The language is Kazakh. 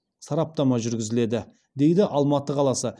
сараптама жүргізіледі дейді алматы қаласы